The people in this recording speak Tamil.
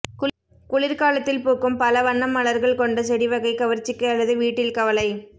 குளிர்காலத்தில் பூக்கும் பல வண்ண மலர்கள் கொண்ட செடி வகை கவர்ச்சிக்கு அல்லது வீட்டில் கவலை